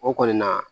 O kɔni na